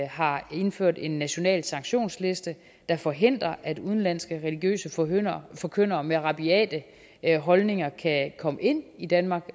har indført en national sanktionsliste der forhindrer at udenlandske religiøse forkyndere forkyndere med rabiate holdninger overhovedet kan komme ind i danmark